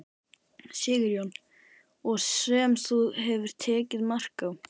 Sigurjón: Og sem þú hefur tekið mark á?